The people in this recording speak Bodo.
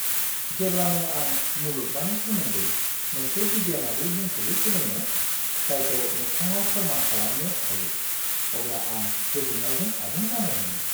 जेब्लानो आं मुलुगमानि सोमोन्दै मोनसे बिगियानारि बुंफुरलु सोलोङो, जायखौ मोगथाङाव फोर्मान खालामनो हायो, अब्ला आं गोजोननायजों आबुं जानाय मोनो।